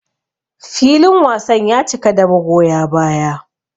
Filin wasan ya cika da magoya baya.